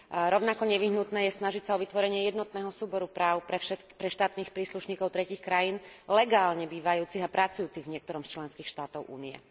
Rovnako nevyhnutné je snažiť sa o vytvorenie jednotného súboru práv pre štátnych príslušníkov tretích krajín legálne bývajúcich a pracujúcich v niektorom z členských štátov Únie.